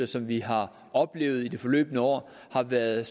som vi har oplevet i det forløbne år har været